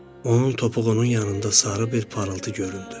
Onun topuğunun yanında sarı bir parıltı göründü.